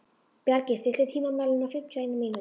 Bjargey, stilltu tímamælinn á fimmtíu og eina mínútur.